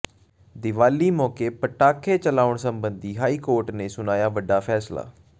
ਦੀਵਾਲੀ ਮੌਕੇ ਪਟਾਖੇ ਚਲਾਉਣ ਸਬੰਧੀ ਹਾਈਕੋਰਟ ਨੇ ਸੁਣਾਇਆ ਵੱਡਾ ਫੈਸਲਾ